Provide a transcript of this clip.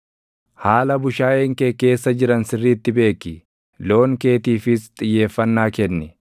Haala bushaayeen kee keessa jiran sirriitti beeki; loon keetiifis xiyyeeffannaa kenni;